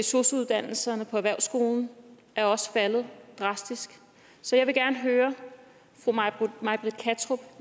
sosu uddannelserne på erhvervsskolen er også faldet drastisk så jeg vil gerne høre fru may britt kattrup